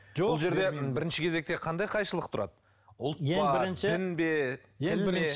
бұл жерде бірінші кезекте қандай қайшылық тұрады ұлт па дін бе тіл ме